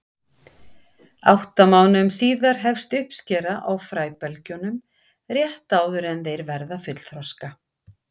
Átta mánuðum síðar hefst uppskera á fræbelgjunum, rétt áður en þeir verða fullþroska.